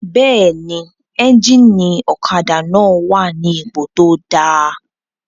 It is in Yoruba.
Bẹ́ẹ̀ni, éjìnì ọ̀kadà náà wà ní ipò tó dáa